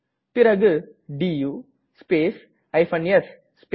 பிறகு to space s space